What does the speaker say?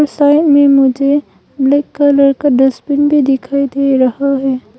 Side में मुझे black colour का डस्टबिन भी दिखाई दे रहा है।